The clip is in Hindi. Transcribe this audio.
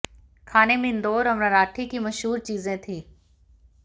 खाने में इंदौर और मराठी की मशहूर चीजें थीं